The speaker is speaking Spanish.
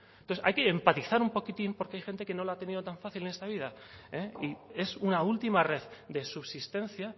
entonces hay que empatizar un poquitín porque hay gente que no lo ha tenido tan fácil en esta vida y es una última red de subsistencia